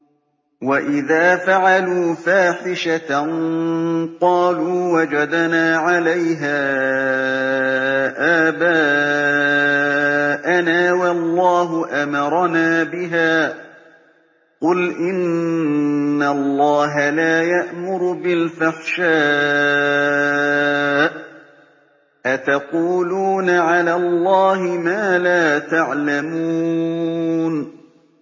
وَإِذَا فَعَلُوا فَاحِشَةً قَالُوا وَجَدْنَا عَلَيْهَا آبَاءَنَا وَاللَّهُ أَمَرَنَا بِهَا ۗ قُلْ إِنَّ اللَّهَ لَا يَأْمُرُ بِالْفَحْشَاءِ ۖ أَتَقُولُونَ عَلَى اللَّهِ مَا لَا تَعْلَمُونَ